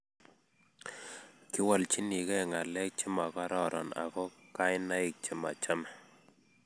kiwolchinigei ngalek chemagororon ago kainaik chemachame